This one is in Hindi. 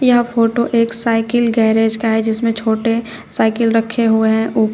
यह फोटो एक साइकिल गैरेज का है जिसमें छोटे साइकिल रखे हुए हैं ऊपर--